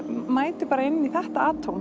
mæti bara inn í þetta